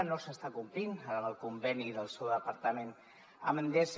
no s’està complint amb el conveni del seu departament amb endesa